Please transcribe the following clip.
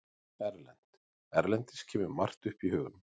Erlent: Erlendis kemur margt upp í hugann.